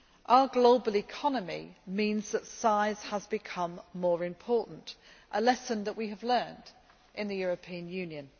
Our global economy means that size has become more important, a lesson that we have learnt in the European Union.